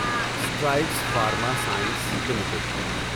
Strides pharma science limited